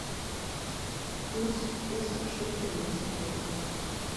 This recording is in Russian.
курс песо к шекелю на сегодня